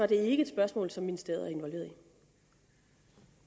det ikke et spørgsmål som ministeriet